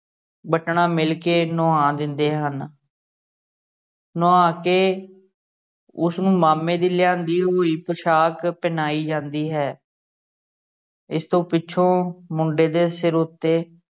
ਵੱਟਣਾ ਮੱਲ ਕੇ ਨਵਾ ਦਿੰਦੇ ਹਨ ਨਵਾ ਕੇ ਉਸਨੂੰ ਮਾਮੇ ਦੀ ਲਿਆਂਦੀ ਹੋਈ ਪੈਛਾਕ ਪਹਿਨਾਈ ਜਾਂਦੀ ਹੈ ਇਸ ਤੋਂ ਪਿੱਛੋਂ ਮੁੰਡੇ ਦੇ ਸਿਰ ਉੱਤੋਂ